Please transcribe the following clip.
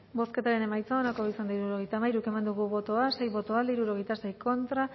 bozketaren emaitza onako izan da hirurogeita hamairu eman dugu bozka sei boto alde hirurogeita sei contra